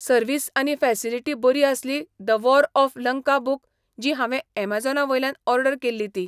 Service आनी facility बरी आसली the war of Lanka book जी हांवें एमाजेना वयल्यान ओर्डर केल्ली ती.